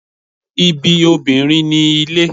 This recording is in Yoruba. Ibi obinrin ni ile